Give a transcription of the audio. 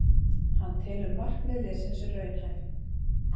Hann telur markmið liðsins raunhæf